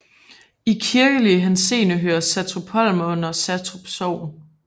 I kirkelig henseende hører Satrupholm under Satrup Sogn